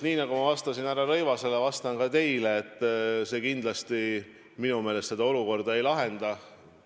Nii nagu ma vastasin härra Rõivasele, vastan ka teile: see kindlasti minu meelest seda olukorda ei lahenda.